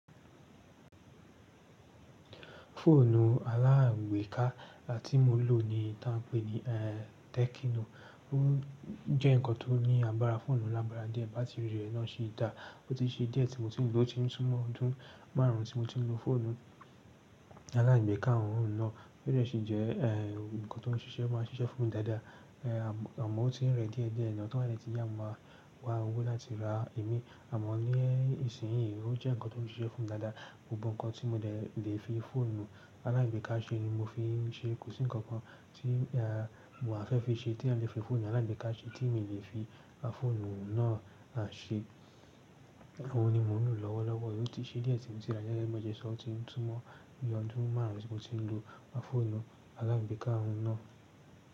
Fóònù alágbekà ti mó lò ní ta n pè ní, eehh, tekinò. Ó jẹ́ nǹkan tó ní àgbára fòònù lágbára díẹ̀, bátìrì rẹ̀ náà si dà. Ó ti ṣe díẹ̀ tí mó ti ń lò ó, ti ń túmọ̀ ọdún márùn ún tí mó ti ń lo fòònù alágbekà ọ̀hún náà. Ó de si jẹ́, eehh, ǹkan tó n ṣiṣẹ́ máa ń ṣiṣẹ́ fún mí dáadáa. Eehh, àmọ́ ó ti ń rẹ díẹ̀ díẹ̀ naa, to ba de tiya máa wá owó láti ra imí. Àmọ́ ní ìsinyìí ó jẹ́ ǹkan tó n ṣiṣẹ́ fún mí dáadáa. Gbogbo ǹkan tí mó dẹ̀ lè fi fòònù alágbekà ṣe ni mó fi ń ṣe. Kò sí ǹkan kan tí, aah, mò á fẹ́ fi ṣe tí à le fi fòònù alágbekà ṣe tí mi le fi fòònù náà ṣe. Òhun ni mó ń lò lọ́wọ́lọ́wọ́. Ó ti ṣe díẹ̀ tí mó ti rà á gege bi mó se ṣọ́. Ó ti ń túmọ̀ bi ọdún márùn ún tí mó ti ń lo fòònù alágbekà ọ̀hún náà.